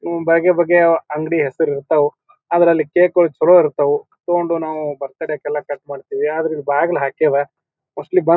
ಹ್ಮ್ ಬಗೆ ಬಗೆ ಅಂಗಡಿ ಹೆಸ್ರ್ ಇರ್ತವು. ಅದ್ರಲ್ಲಿ ಕೇಕ್ ಗಳು ಚಲೋ ಇರ್ತವು. ತಕೊಂಡು ನಾವು ಬರ್ತ್ಡೇ ಗೆಲ್ಲ ಕಟ್ ಮಾಡತೇವಿ. ಅದ್ರ ಇಲ್ಲಿ ಬಾಗಿಲು ಹಾಕ್ಯದ. ಮೋಸ್ಟ್ಲಿ ಬಂದ್--